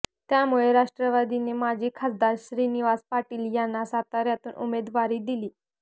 त्यामुळे राष्ट्रवादीने माजी खासदार श्रीनिवास पाटील यांना साताऱ्यातून उमेदवारी दिली